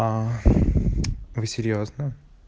а вы серьёзно